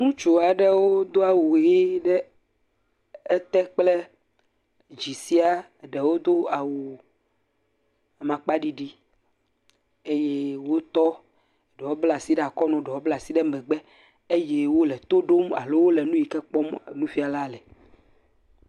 Ŋutsu aɖewo do awu ʋie ɖe ete kple dzi sia. Ɖewo do awu aŋkpaɖiɖi eye wotɔ, ɖewo bla asi ɖe akɔnu, ɖewo bla asi ɖe megbe eye wole to ɖom alo wole nu yi ke kpɔm nufɛ̃ala le.